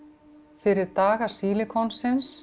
fyrir daga